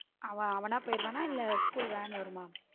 அவன் அவன்னா போயிருவன இல்ல school van வரும்ம.